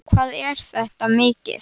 Magnús: Hvað er þetta mikið?